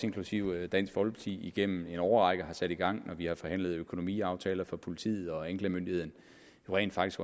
inklusive dansk folkeparti igennem en årrække har sat i gang når vi har forhandlet økonomiaftaler for politiet og anklagemyndigheden rent faktisk